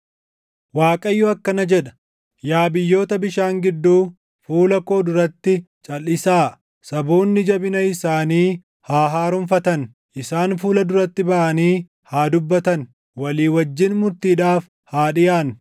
Waaqayyo akkana jedha; “Yaa biyyoota bishaan gidduu, fuula koo duratti calʼisaa! Saboonni jabina isaanii haa haaromfatan! Isaan fuula duratti baʼanii haa dubbatan; walii wajjin murtiidhaaf haa dhiʼaannu.